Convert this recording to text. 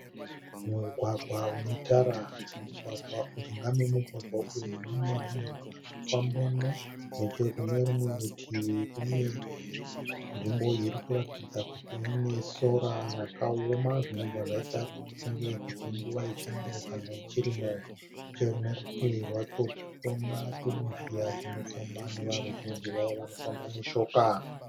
Mugwagwa une tara. Mujinga memugwagwa uyu mune munhu ari kufambamo. Nechekunerimwe rutivi Kune nzvimbo iri kuratidza kuti ine sora rakaoama zvinobva zvaita kuti tifunge kuti inguva ye chando kana yechirimo. Neche kune rutivi rwacho tirikuona chizhira chinofamba neveruzhinji vaye vanofamba neshoka.